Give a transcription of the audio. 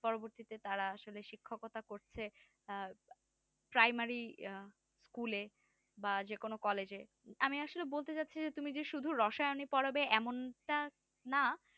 পরবর্তীতে তারা আসলে শিক্ষকতা করছে আর primary আহ school এ বা যেকোনো college এ আমি আসলে বলতে চাছে যে তুমি যে শুধু রসায়ন ই পড়াবে এমন টা না